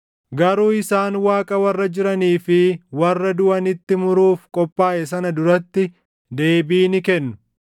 Garuu isaan Waaqa warra jiranii fi warra duʼanitti muruuf qophaaʼe sana duratti deebii ni kennu.